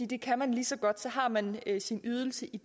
det kan man lige så godt så har man sin ydelse i